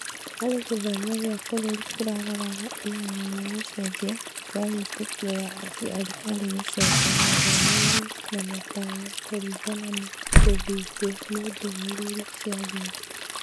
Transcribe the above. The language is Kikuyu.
Harĩ gĩthomo kĩa bũrũri kĩraroraga ihenya rĩa gũcenjia kwa wĩtĩkio wa aciari harĩ gũcoka mathomo-inĩ na matanya kũringana na gũthĩngwo nĩ ndũmĩrĩri cia thimũ.